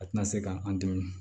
A tɛna se k'an dɛmɛ